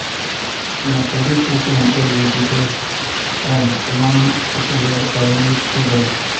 wetin i don sabi about hiv don help me choose better uhm for my family.